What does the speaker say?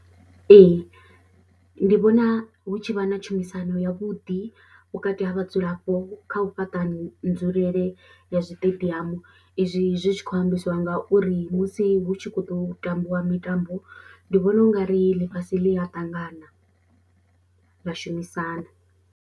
Ee, ndi vhona hu tshi vha na tshumisano yavhuḓi vhukati ha vhadzulapo kha u fhaṱa nzulele ya zwiṱediamu izwi zwi tshi khou ambisiwa ngauri musi hu tshi khou ḓo tambiwa mitambo ndi vhona u nga ri ḽifhasi ḽi a ṱangana ḽa shumisana.